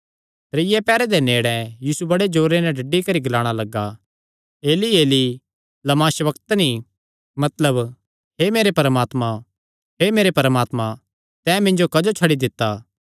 त्रीये पैहर दे नेड़े यीशु बड़े जोरे नैं डड्डी करी ग्लाणा लग्गा ऐली ऐली लमा शबक्तनी मतलब हे मेरे परमात्मा हे मेरे परमात्मा तैं मिन्जो क्जो छड्डी दित्ता